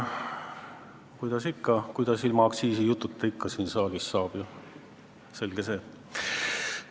Kuidas siin saalis ilma aktsiisijututa ikka saab, selge see.